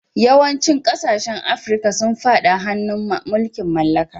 Yawancin kasashen Afirka sun fada hannun mulkin mallaka.